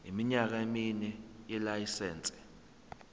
iminyaka emine yelayisense